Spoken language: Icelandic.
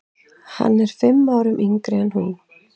Hann er fimm árum yngri en hún.